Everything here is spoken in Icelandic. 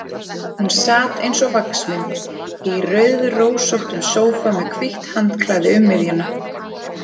Hún sat eins og vaxmynd í rauðrósóttum sófa, með hvítt handklæði um miðjuna.